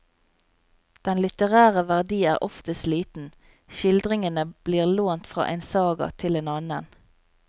Den litterære verdi er oftest liten, skildringene blir lånt fra en saga til en annen.